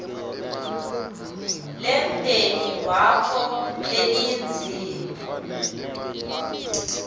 lemndeni wakho lelidzinga